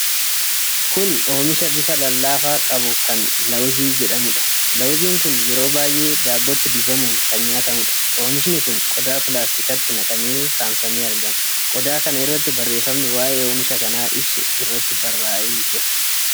Kun oomisha bifa lallaafaa qabu kan lawuzii jedhamuudha. Lawuziin kun yeroo baay'ee, daabbotti dibamuun kan nyaatamuudha. Oomishni kun qodaa pilaastikaatti naqamee saamsamee argama. Qodaa kana irratti barreefamni waa'ee oomisha kanaa ibsu irratti baarra'ee jira.